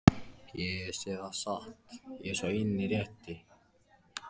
Ég segi það satt, ég er sá eini rétti.